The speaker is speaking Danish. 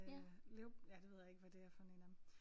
Øh ja det ved jeg ikke hvad det er for én af dem